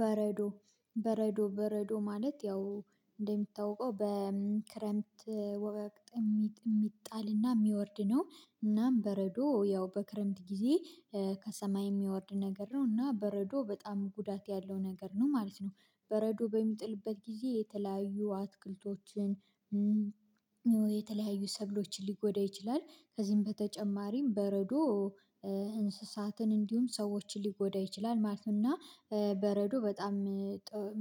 በረዶ በረዶ በረዶ ማለት ያው እንደሚታወቀው በክረምት ወቅት የሚጣልና የሚወርድ ነው እናም በረዶ ያው በክረምት ጊዜ ከሰማይ የሚወርድ ነገር ነው እና በረዶ በጣም ጉዳት ያለው ነገር ነው ማለት ነው። በረዶ በሚጥልበት ጊዜ የተለያዩ አትክልቶችን የተለያዩ ሰብሎችን ሊጎዳ ይችላል። ከዚህም በተጨማሪም በረዶ እንስሳትን እንዲሁም ሰዎችን ሊጎዳ ይችላል ማለት ነው። እና በረዶ በጣም